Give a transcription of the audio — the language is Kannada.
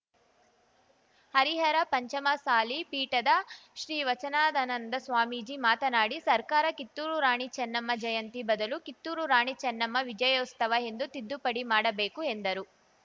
ಹರಿಹರ ಪಂಚಮಸಾಲಿ ಪೀಠದ ಶ್ರೀ ವಚನಾದನಂದ ಸ್ವಾಮೀಜಿ ಮಾತನಾಡಿ ಸರ್ಕಾರ ಕಿತ್ತೂರು ರಾಣಿ ಚೆನ್ನಮ್ಮ ಜಯಂತಿ ಬದಲು ಕಿತ್ತೂರು ರಾಣಿ ಚೆನ್ನಮ್ಮ ವಿಜಯೋಸ್ತವ ಎಂದು ತಿದ್ದುಪಡಿ ಮಾಡಬೇಕು ಎಂದರು